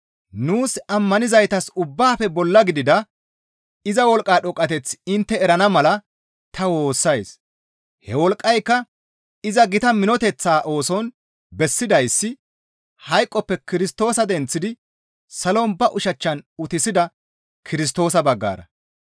Nuus ammanizaytas ubbaafe bolla gidida iza wolqqa dhoqqateth intte erana mala ta woossays; he wolqqayka iza gita minoteththaa ooson bessidayssi hayqoppe Kirstoosa denththidi salon ba ushachchan utissida Kirstoosa baggara.